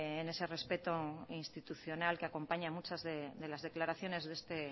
en ese respeto institucional que acompaña a muchas de las declaraciones de este